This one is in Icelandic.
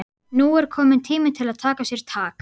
Nú er kominn tími til að taka sér tak.